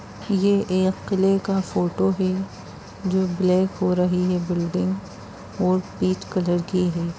ये एक किले का फोटो है जो ब्लैक हो रही है बिल्डिंग और पीच कलर की है।